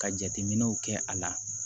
Ka jateminɛw kɛ a la